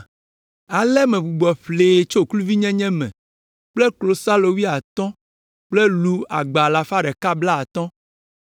Ale megbugbɔ ƒlee tso eƒe kluvinyenye me kple klosalo wuiatɔ̃ kple lu agba alafa ɖeka blaatɔ̃.